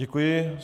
Děkuji.